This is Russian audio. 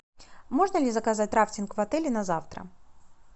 можно ли заказать рафтинг в отеле на завтра